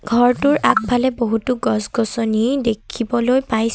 ঘৰটোৰ আগফালে বহুতো গছ গছনি দেখিবলৈ পইছ--